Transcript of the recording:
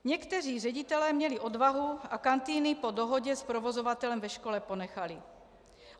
Někteří ředitelé měli odvahu a kantýny po dohodě s provozovatelem ve škole ponechali.